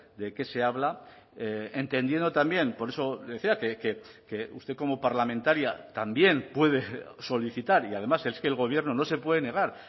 de qué se habla entendiendo también por eso decía que usted como parlamentaria también puede solicitar y además es que el gobierno no se puede negar